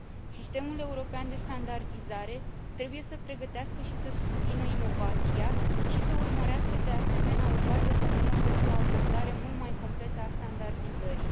Sistemul european de standardizare trebuie să pregătească și să susțină inovația și să urmărească, de asemenea, o bază comună pentru o abordare mult mai completă a standardizării.